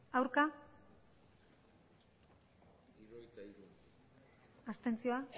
botoak aurkako botoak abstentzioa